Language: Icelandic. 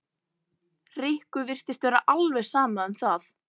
Rikku virtist vera alveg sama um það.